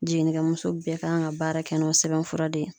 Jiginnikɛmuso bɛɛ kan ka baara kɛ n'o sɛbɛnfura de ye.